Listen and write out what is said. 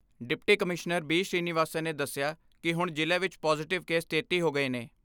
Deputy commissioner B Srinivasan ਨੇ ਦਸਿਆ ਕਿ ਹੁਣ ਜ਼ਿਲ੍ਹੇ ਵਿਚ ਪਾਜੇਟਿਵ ਕੇਸ ਤੇਤੀ ਹੋ ਗਏ ਨੇ।